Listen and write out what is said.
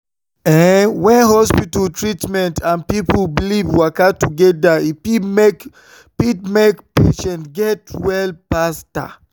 ehn when hospital treatment and people belief waka together e fit make fit make patient get well faster.